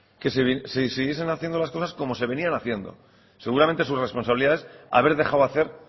que siguiesen haciendo las cosas como se venían haciendo seguramente su responsabilidad es haber dejado hacer